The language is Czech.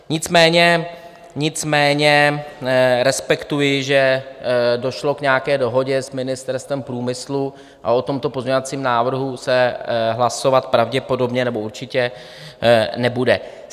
Nicméně respektuji, že došlo k nějaké dohodě s Ministerstvem průmyslu a o tomto pozměňovacím návrhu se hlasovat pravděpodobně nebo určitě nebude.